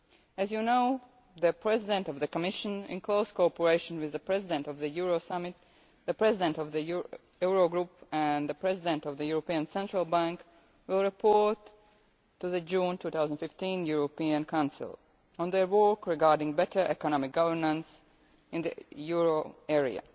As you know, the President of the Commission, in close cooperation with the President of the Euro Summit, the President of the Eurogroup and the President of the European Central Bank, will report to the June 2015 European Council on their work regarding better economic governance in the euro area.